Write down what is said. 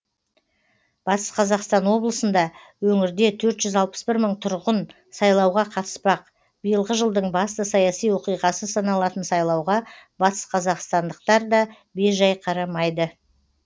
батыс қазақстан облысында өңірде төрт жүз алпыс бір мың тұрғын сайлауға қатыспақ биылғы жылдың басты саяси оқиғасы саналатын сайлауға батысқазақстандықтар да бейжай қарамайды